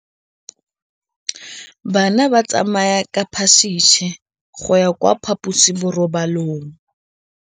Bana ba tsamaya ka phašitshe go ya kwa phaposiborobalong.